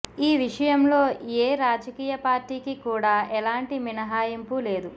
ఈ విషయంలో ఏ రాజకీయ పార్టీకి కూడా ఎలాంటి మినహాయింపు లేదు